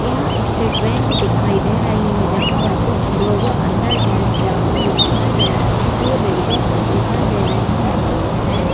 यहां state bank दिखाई दे रही है जहां पर कुछ लोग अंदर जेंट्स जाते हुए दिखाई दे रहे है दो लेडिज दिखाई दे रही है वो है --